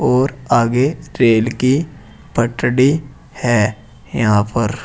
और आगे रेल की पटडी है यहां पर।